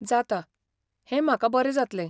जाता, हें म्हाका बरें जातलें.